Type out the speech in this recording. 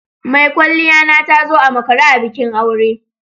Mai kwalliya na ta zo a makare a bikin aure.